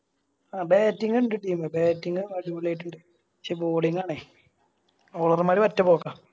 ആ Batting ഇണ്ട് Team batting ഉം അടിപൊളിയായിട്ടിണ്ട് പക്ഷെ Bowling ആണേ Over മാര് ഒറ്റ പോക്കാ